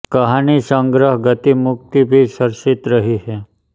कहानी संग्रह गति मुक्ति भी चर्चित रही है